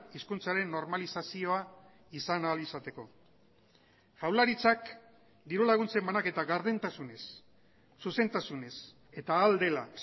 hizkuntzaren normalizazioa izan ahal izateko jaurlaritzak diru laguntzen banaketa gardentasunez zuzentasunez eta ahal dela